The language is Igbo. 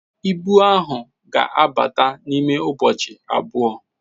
Ibu ahụ ga-abata n'ime ụbọchị abụọ